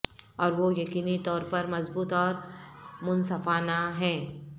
اور وہ یقینی طور پر مضبوط اور منصفانہ ہیں